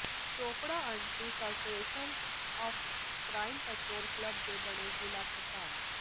Chopra anti corruption and crime control club ਦੇ ਬਣੇ ਜ਼ਿਲ੍ਹਾ ਪ੍ਰਧਾਨ